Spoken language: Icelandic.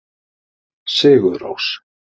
Sigurrós